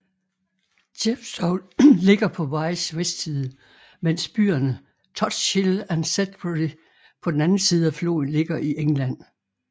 Chepstow ligger på Wyes vestside menes byerne Tutshill og Sedbury på den anden side af floden ligger i England